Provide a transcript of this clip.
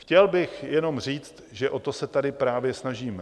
Chtěl bych jenom říct, že o to se tady právě snažíme.